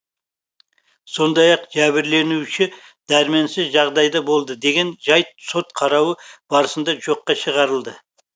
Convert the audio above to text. сондай ақ жәбірленуші дәрменсіз жағдайда болды деген жайт сот қарауы барысында жоққа шығарылды